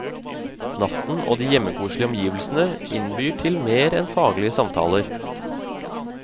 Natten og de hjemmekoselige omgivelsene innbyr til mer enn faglige samtaler.